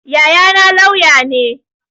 Yayana lauya ne